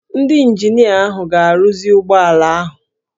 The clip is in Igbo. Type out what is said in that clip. Ndị ịnjinịa ahụ ga-arụzi ụgbọ ala ahụ